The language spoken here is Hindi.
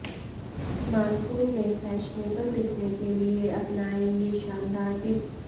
मानसून में फैशनेबल दिखने के लिए अपनाएं ये शानदार टिप्स